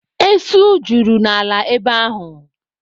Esu juru n'ala ebe ahụ.